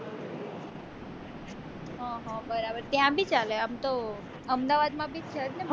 બરાબર ત્યાં બી ચાલે આમ તો અમદાવાદ માં બી છે જ ને